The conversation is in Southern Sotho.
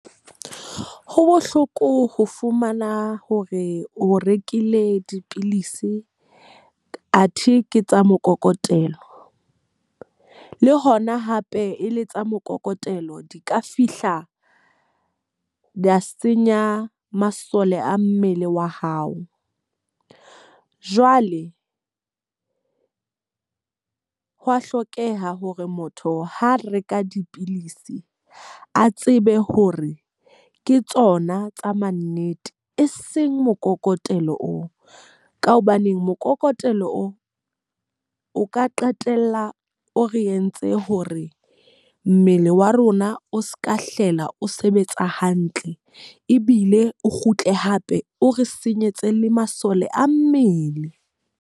Ho bohloko ho fumana hore o rekile dipilisi a the ke tsa mokokotelo. Le hona hape e le tsa mokokotelo di ka fihla di senya masole a mmele wa hao. Jwale hwaa hlokeha hore motho ha reka dipilisi a tsebe hore ke tsona tsa ma nnete, e seng mokokotelo oo. Ka hobaneng mokokotelo oo o ka qetella o re entse hore mmele wa rona o seka hlela o sebetsa hantle. Ebile o kgutle hape o re senyetsa le masole a mmele.